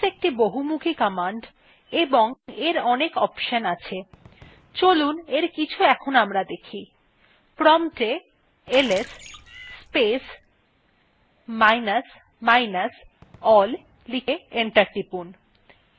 ls একটি খুব বহমুখি command এবং এর অনেক option আছে চলুন এর কিছু আমরা দেখি prompt a ls space minus minus all লিখে enter টিপুন